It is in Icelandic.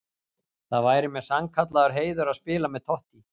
Það væri mér sannkallaður heiður að spila með Totti.